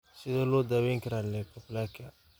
Sidee loo daweyn karaa leukoplakia?